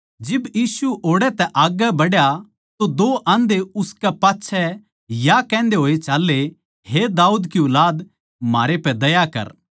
जिब यीशु ओड़ै तै आग्गै बढ़ा तो दो आंधे उसकै पाच्छै या कहन्दे होए चाल्ले हे दाऊद की ऊलाद म्हारै पै दया कर